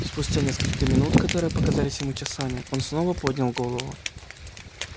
спустя несколько минух которые показались ему часами он снова поднял голову